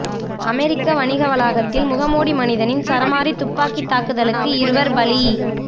America வணிக வளாகத்தில் முகமூடி மனிதனின் சராமரி துப்பாக்கி தாக்குதலுக்கு இருவர் பலி